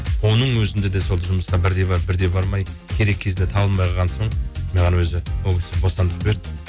оның өзінде де сол жұмыста бірде барып бірде бармай керек кезде табылмай қалған соң маған өзі ол кісі бостандық берді